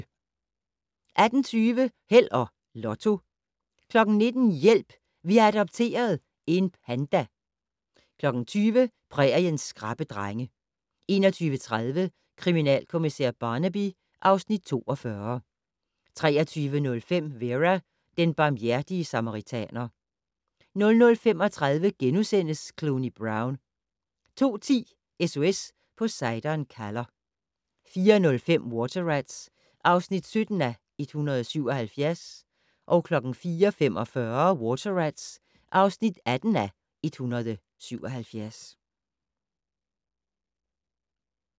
18:20: Held og Lotto 19:00: Hjælp! Vi har adopteret - en panda 20:00: Præriens skrappe drenge 21:30: Kriminalkommissær Barnaby (Afs. 42) 23:05: Vera: Den barmhjertige samaritaner 00:35: Cluny Brown * 02:10: SOS Poseidon kalder 04:05: Water Rats (17:177) 04:45: Water Rats (18:177)